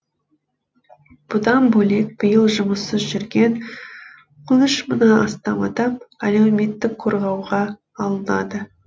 бұдан бөлек биыл жұмыссыз жүрген он үш мыңнан астам адам әлеуметтік қорғауға алынады